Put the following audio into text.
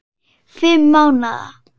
Fimm mánaða